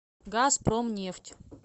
газпромнефть